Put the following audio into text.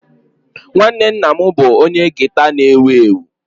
Nwanne nna m bụ onye gita na-ewu ewu